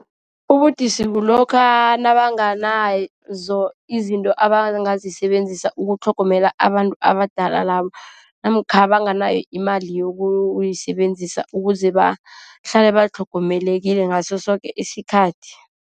Ubudisi kulokha nabanganazo izinto abangazisebenzisa ukutlhogomela abantu abadala labo. Namkha banganayo imali yokuyisebenzisa, ukuze bahlale batlhogomelekile ngaso soke isikhathi.